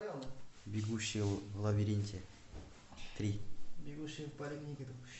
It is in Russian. бегущий в лабиринте три